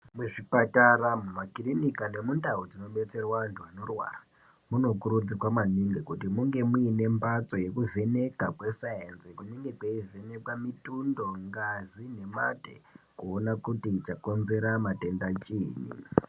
Muzvipatara, mumakirinika nemundau dzinobetserwa antu anorwara munokurudzirwa maningi kuti munge muine mbatso yekuvheneka kwe sainzi kunenge kweivhenekwa mitundo, ngazi nemate kuona kuti chakonzera matenda chinyi.